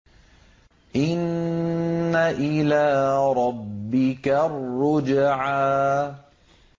إِنَّ إِلَىٰ رَبِّكَ الرُّجْعَىٰ